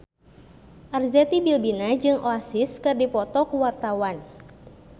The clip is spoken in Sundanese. Arzetti Bilbina jeung Oasis keur dipoto ku wartawan